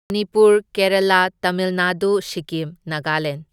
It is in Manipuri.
ꯃꯅꯤꯄꯨꯔ, ꯀꯦꯔꯥꯂꯥ, ꯇꯥꯃꯤꯜ ꯅꯥꯗꯨ, ꯁꯤꯛꯀꯤꯝ, ꯅꯥꯒꯂꯦꯟ꯫